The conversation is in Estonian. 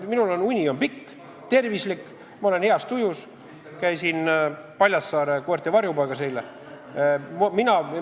Minu uni on pikk ja tervislik, ma olen heas tujus, käisin eile Paljassaare koerte varjupaigas.